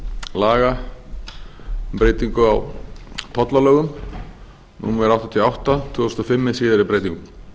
laga um breytingu á tollalögum númer áttatíu og átta tvö þúsund og fimm með síðari breytingum